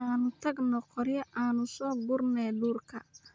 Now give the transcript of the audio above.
Anu tagno qoryo an kaso gurne dhurka.